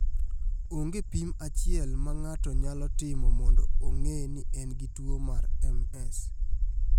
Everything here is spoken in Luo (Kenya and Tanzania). Onge pim achiel ma ng�ato nyalo timo mondo ong�e ni en gi tuwo mar MS.